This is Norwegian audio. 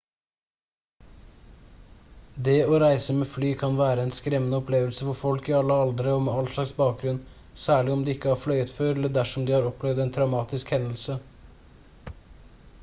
det å reise med fly kan være en skremmende opplevelse for folk i alle aldre og med all slags bakgrunn særlig om de ikke har fløyet før eller dersom de har opplevd en traumatisk hendelse